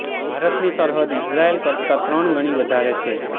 ભારતની સરહદ ઇઝરાયલ કરતા ત્રણ ગણી વધારે છે